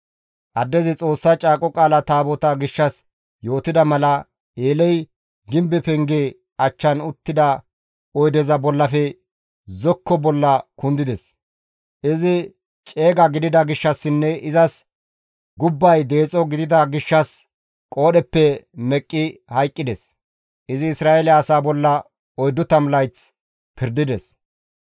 Addezi Xoossa Caaqo Qaala Taabotaa gishshas yootida mala, Eeley gimbe penge achchan uttida oydeza bollafe zokko bolla kundides; izi ceega gidida gishshassinne izas gubbay deexo gidida gishshas qoodheppe meqqi hayqqides; izi Isra7eele asaa bolla 40 layth pirdides.